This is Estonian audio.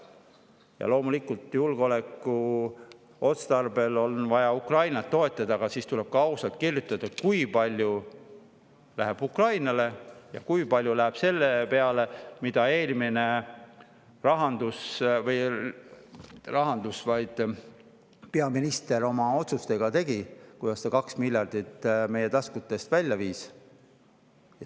Ja loomulikult, julgeolekuotstarbel on vaja Ukrainat toetada, aga siis tuleb ka ausalt kirjutada, kui palju läheb Ukrainale ja kui palju läheb selle peale, mida eelmine peaminister oma otsustega tegi, kui ta 2 miljardit meie taskutest välja viis.